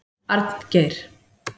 Arngeir